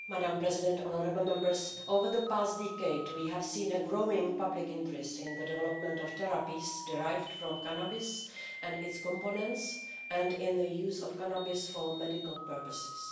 Madam President, honourable Members, over the past decade, we have seen growing public interest in the development of therapies derived from cannabis and its components and in the use of cannabis for medical purposes.